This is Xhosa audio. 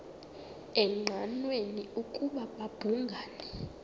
engqanweni ukuba babhungani